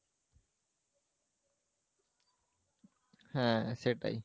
হ্যাঁ সেটাই